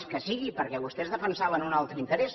les que sigui perquè vostès defensaven un altre interès